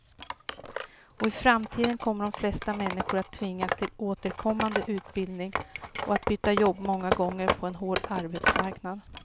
Och i framtiden kommer de flesta människor att tvingas till återkommande utbildning och att byta jobb många gånger på en hård arbetsmarknad.